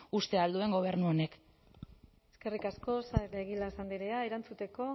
uste ahal duen gobernu honek eskerrik asko saez de egilaz andrea erantzuteko